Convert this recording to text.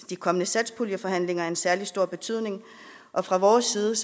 de kommende satspuljeforhandlinger særlig stor betydning og fra vores side